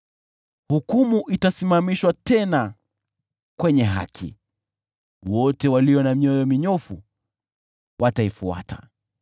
Hukumu itasimamishwa tena kwenye haki, wote walio na mioyo minyofu wataifuata.